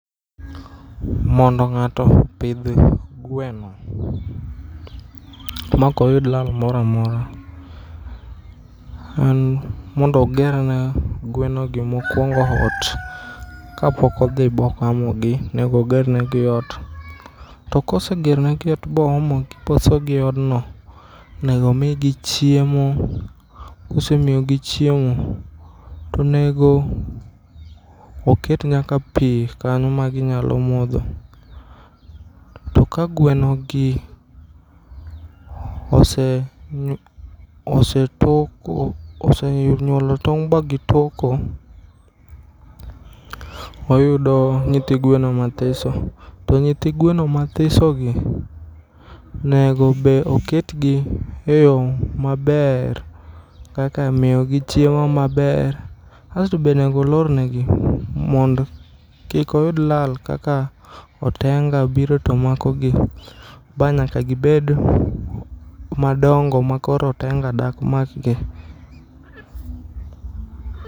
Mondo ng'ato opidh gweno mokoyud lar moramora en mondo ogerne gwenogi mokuongo ot kapokodhi bogamogi nego ogernegi ot to kosegeronegi ot boomogi bosogi eodno nego omigi chiemo kosemiyogi chiemo tonego oket nyaka pii kanyo maginyalo modho. To kagwenogi osetoko, osenyuolo tong' bagitoko wayudo nyithii gweno mathiso to nyithii ngweno mathisogi nego be oketgi e yoo maber kaka miyogi chiemo maber. Kasto be onego olornegi mondo kik oyud lal kaka otenga biro tomakogi ba nyaka gibed madongo makoro otenga dakmakgi.